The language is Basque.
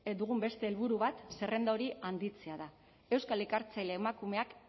dugun beste helburu bat zerrenda hori handitzea da euskal ikertzaile emakumeak